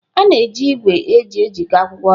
A na-eji igwe eji ejikọta akwụkwọ ọnụ.